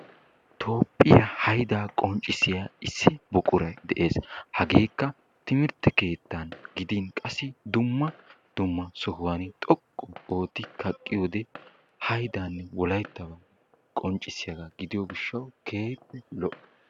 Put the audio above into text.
Toophphiya haydaa qonccissiya issi buquray dees hageekka timirtte keettan gidin qassi dumma dumma sohuwan xoqqu ootti kaqqiyode haydan wolaytta qonccissiyagaa gidiyo gishshawu keehippe lo'ees